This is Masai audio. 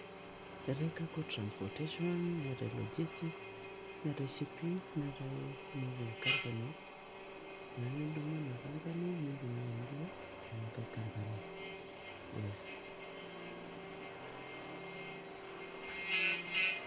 Keetai cargo transportation neetai logistics neetai shippings neetai moving companies neeku kaintumia ena company nintumia nilo ena nkae company yes.